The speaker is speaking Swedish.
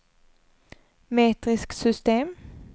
metriskt system